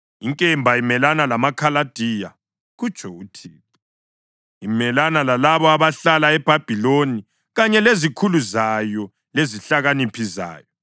Inkemba imelana lamaKhaladiya,” kutsho uThixo, “imelane lalabo abahlala eBhabhiloni kanye lezikhulu zayo lezihlakaniphi zayo!